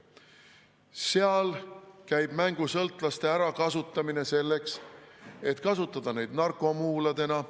Seal käib mängusõltlaste ärakasutamine selleks, et kasutada neid narkomuuladena.